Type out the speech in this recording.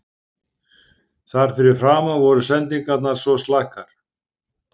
Þar fyrir framan voru sendingarnar svo slakar.